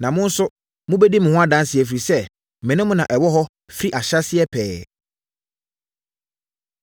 Na mo nso mobɛdi me ho adanseɛ, ɛfiri sɛ, me ne mo na ɛwɔ hɔ firi ahyɛaseɛ pɛɛ.”